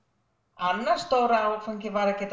annar stór áfangi var að geta